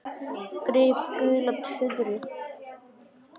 Gríp gula tuðru.